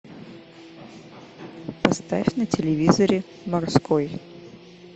поставь на телевизоре морской